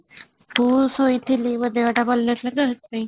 ମୁଁ ଶୋଇଥିଲି ମୋ ଦେହ ଟା ଭଲ ନଥିଲା ତ ସେଥିପାଇଁ |